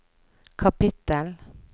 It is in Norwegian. kapittel